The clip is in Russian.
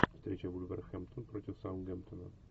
встреча вулверхэмптон против саутгемптона